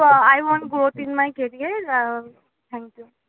ah I want growth in my career ah thank you